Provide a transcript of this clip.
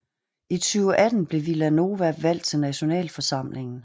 I 2018 blev Vila Nova valgt til nationalforsamlingen